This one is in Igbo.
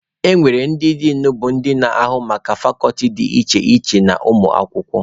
E nwere ndị Din bụ ndị na-ahụ maka fakọlti dị iche iche na ụmụ akwụkwọ.